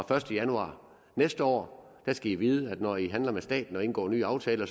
første januar næste år skal i vide at når i handler med staten og indgår nye aftaler